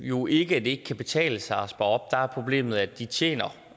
jo ikke at det ikke kan betale sig at spare op der er problemet at de tjener